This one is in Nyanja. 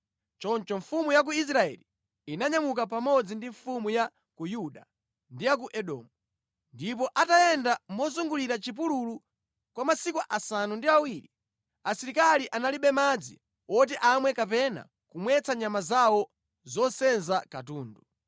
Choncho mfumu ya ku Israeli inanyamuka pamodzi ndi mfumu ya ku Yuda ndi ya ku Edomu. Ndipo atayenda mozungulira mʼchipululu kwa masiku asanu ndi awiri, asilikali analibe madzi woti amwe kapena kumwetsa nyama zawo zosenza katundu.